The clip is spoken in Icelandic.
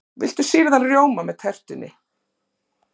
Viltu sýrðan rjóma með tertunni?